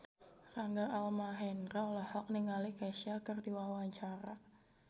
Rangga Almahendra olohok ningali Kesha keur diwawancara